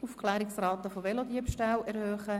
«Aufklärungsrate von Velodiebstählen erhöhen!».